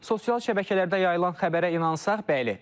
Sosial şəbəkələrdə yayılan xəbərə inansaq, bəli.